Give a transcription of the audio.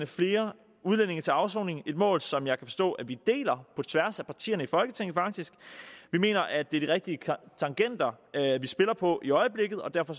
flere udlændinge til afsoning et mål som jeg kan forstå at vi faktisk deler på tværs af partierne i folketinget vi mener at det er de rigtige tangenter vi spiller på i øjeblikket og derfor